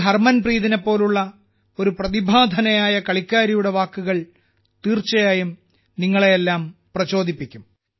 ഹർമൻപ്രീതിനെപ്പോലുള്ള ഒരു പ്രതിഭാധനയായ കളിക്കാരിയുടെ വാക്കുകൾ തീർച്ചയായും നിങ്ങളെയെല്ലാം പ്രചോദിപ്പിക്കും